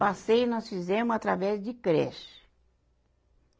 Passeio nós fizemo através de creche.